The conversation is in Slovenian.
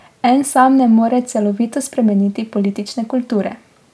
En sam ne more celovito spremeniti politične kulture.